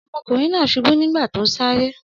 Ọmọkùnrin náà ṣubú nígbà tó ń sáré.